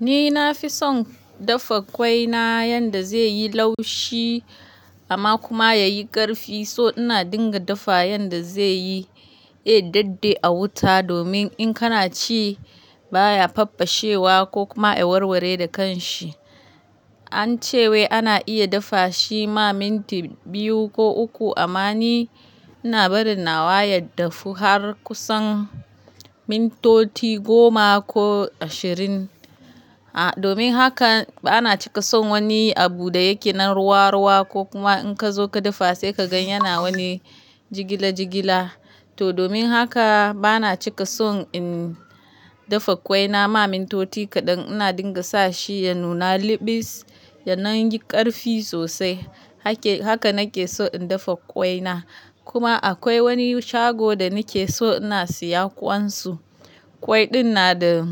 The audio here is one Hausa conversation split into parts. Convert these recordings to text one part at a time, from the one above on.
Ni na fi son dafa ƙwai na yanda zai yi laushi amma kuma ya yi ƙarfi. So ina dinga dafa yanda zai yi, eh, dade a wuta domin in kana ci baya faffashewa ko kuma ya warware da kanshi. An ce wai ana iya dafa shi ma minti biyu ko uku amma ni ina bari nawa ya dafu har kusan mintoti goma ko ashirin. A, domin haka bana cika son wani abu da yake nan ruwa-ruwa ko kuma in ka zo ka dafa sai ka gan yana wani jigila jigila. To domin haka bana cika son in dafa ƙwai na ma mintoti kaɗan. Ina dinga sa shi ya nuna liɓis, ya nan yi ƙarfi sosai. Hake, haka nake so in dafa ƙwai na. Kuma akwai wani shago da nake so ina siya ƙwansu. Ƙwai ɗin na da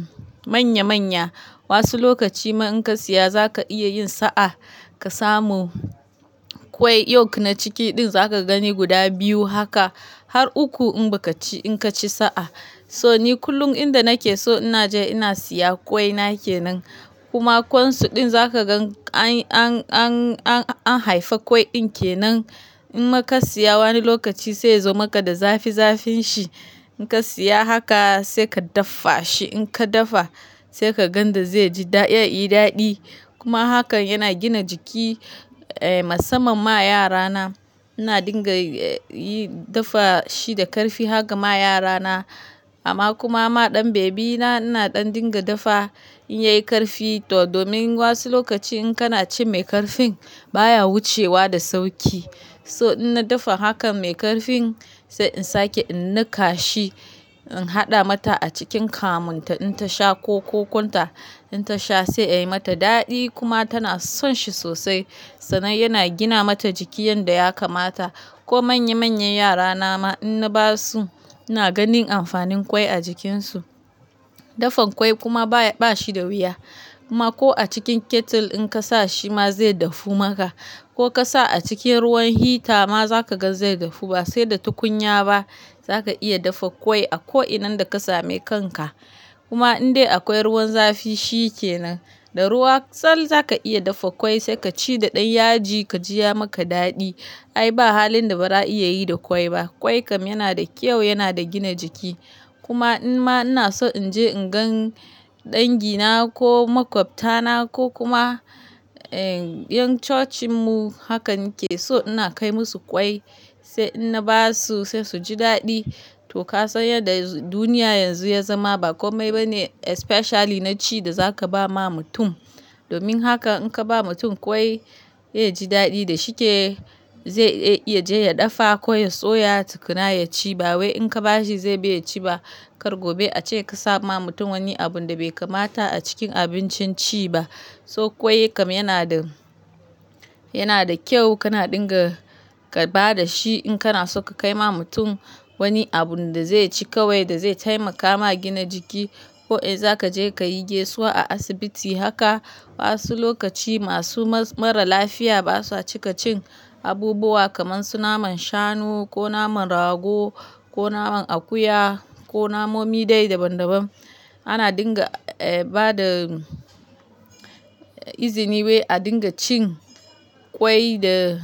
manya-manya. Wasu lokaci ma in ka siya za ka iya yin sa'a ka samu ƙwai york na ciki ɗin za ka gani guda biyu haka har uku in ba ka ci, in ka ci sa'a. So ni kullum inda nake so ina je ina siya ƙwai nake nan. Kuma ƙwansu ɗin za ka gan an, an, an, an, an haifa ƙwai ɗin ke nan. In ma ka siya wani lokaci sai ya zo maka da zafi-zafin shi. In ka siya haka sai ka daffa shi. In ka dafa sai ka gan da zai ji da, ya yi daɗi. Kuma hakan yana gina jiki, eh, musamman ma yara na. Ina dinga, eh, yi dafa shi da ƙarfi haka ma yara na. Amma kuma ma ɗan bebi na ina ɗan dinga dafa in ya yi ƙarfi. To domin wasu lokaci in kana ci mai ƙarfin baya wucewa da sauƙi. So ina dafa hakan mai ƙarfin sai in sake in niƙa shi, in haɗa mata a cikin kamunta in ta sha ko kokunta in ta sha sai ya yi mata daɗi kuma tana son shi sosai. Sannan yana gina mata jiki yanda ya kamata. Ko manya-manyan yara na ma in na ba su ina ganin amfanin ƙwai a jikinsu. Dafa ƙwai kuma baya, ba shi da wuya. Kuma ko a cikin kettle in ka sa shi ma zai dafu maka. Ko ka sa a cikin ruwan hita ma za ka gan zai dafu. Ba sai da tukunya ba za ka iya dafa ƙwai a ko'inan da ka same kanka. Kuma indai akwai ruwan zafi shi ke nan. Da ruwa tsall za ka iya dafa ƙwai sai ka ci da ɗan yaji ka ji ya maka daɗi. Ai ba halin da ba za a iya yi da ƙwai ba. Ƙwai kam yana da kyau, yana da gina jiki. Kuma in ma ina so in je in gan dangi na ko maƙwabta na ko kuma, eh, 'yan cocin mu haka nake so ina kai musu ƙwai sai in na ba su sai su ji daɗi. To ka san yadda duniya yanzu ya zama ba kome ba ne especially na ci da za ka ba ma mutum. Domin haka in ka ba mutum ƙwai ya ji daɗi da shike. Zai, ya je ya dafa ko ya soya tukuna ya ci ba wai in ka ba shi zai biya ci ba. Kar gobe a ce ka sa ma mutum wani abun da bai kamata a cikin abincin ci ba. So ƙwai kam yana da, yana da kyau kana dinga ka ba da shi in kana so ka kai ma mutum wani abun da zai ci kawai da zai taimaka ma gina jiki. Ko, eh, za ka je ka yi gaisuwa a asibiti haka wasu lokaci masu mara lafiya ba sa cika cin abubuwa kamar su naman shanu ko naman rago ko naman akuya ko namomi dai daban-daban. Ana dinga, eh, ba da izini wai a dinga cin ƙwai da,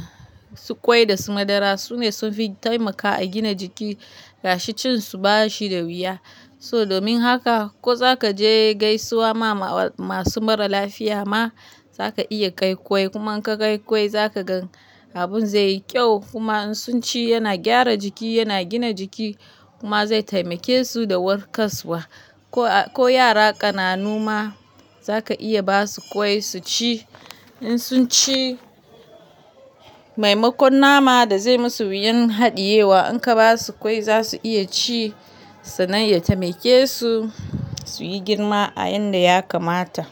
ƙwai da su madara. Su ne sun fi taimaka a gina jiki gashi cin su ba shi da wuya. So domin haka ko za ka je gaisuwa ma masu mara lafiya ma za ka iya kai ƙwai. Kuma in ka kai ƙwai za ka gan abun zai yi kyau. Kuma in sun ci yana gyara jiki, yana gina jiki kuma zai taimake su da warkaswa. Ko, ko yara ƙananu ma za ka iya ba su ƙwai su ci. In sun ci, maimakon nama da zai musu yin haɗiyewa in ka ba su ƙwai za su iya ci sannan ya taimake su su yi girma a yanda ya kamata.